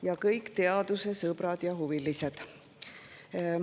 Ja kõik teaduse sõbrad ja huvilised!